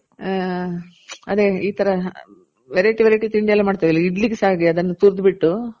ಹಾ ಅದೆ ಈ ತರ variety variety ತಿಂಡಿ ಎಲ್ಲ ಮಾಡ್ತಿವಲ್ಲ ಇಡ್ಲಿಗು ಸಹ ಅದನ್ನ ತುರ್ದ್ ಬಿಟ್ಟು.